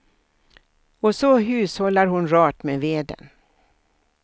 Och så hushållar hon rart med veden.